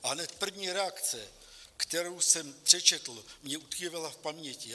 A hned první reakce, kterou jsem přečetl, mně utkvěla v paměti.